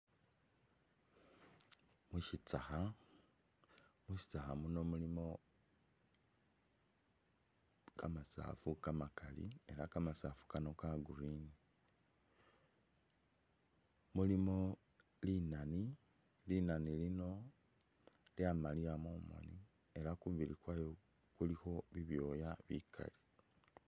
Shitsakha, mushitsakha muno mulimo kamasaafu kamakali ela kamasaafu kano ka Green. Mulimo Linani, Linani lino lyamaliya mumoni ela kumubili kwalyo kulikho bibyoya bikali